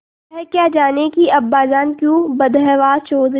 वह क्या जानें कि अब्बाजान क्यों बदहवास चौधरी